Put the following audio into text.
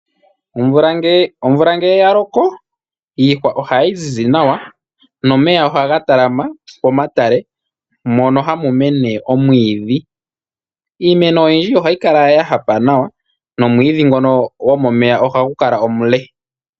Omvula ngele ya loko iihwa ohayi zizi nawa nomeya ohaga talama pomatale mono hamu mene omwiidhi. Iimeno oyindji ohayi kala ya hapa nawa nomwiidhi ngono gomomeya ohagu kala omule.